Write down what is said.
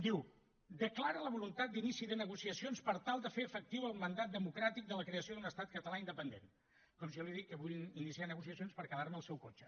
diu declara la voluntat d’inici de negociacions per tal de fer efectiu el mandat democràtic de la creació d’un estat català independent com si jo li dic que vull iniciar negociacions per quedarme el seu cotxe